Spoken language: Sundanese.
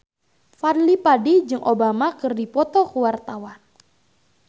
Fadly Padi jeung Obama keur dipoto ku wartawan